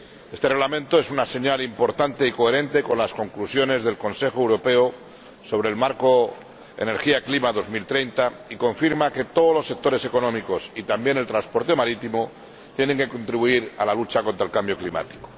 Este Reglamento es una señal importante y coherente con las conclusiones del Consejo Europeo sobre el marco en materia de clima y energía hasta 2030 y confirma que todos los sectores económicos, y también el transporte marítimo, tienen que contribuir a la lucha contra el cambio climático.